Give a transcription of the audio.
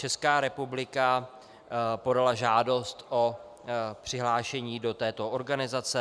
Česká republika podala žádost o přihlášení do této organizace.